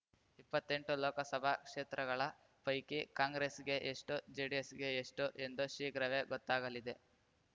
ಇಪ್ಪತ್ತೆಂಟು ಲೋಕಸಭಾ ಕ್ಷೇತ್ರಗಳ ಪೈಕಿ ಕಾಂಗ್ರೆಸ್‌ಗೆ ಎಷ್ಟು ಜೆಡಿಎಸ್‌ಗೆ ಎಷ್ಟು ಎಂದು ಶೀಘ್ರವೇ ಗೊತ್ತಾಗಲಿದೆ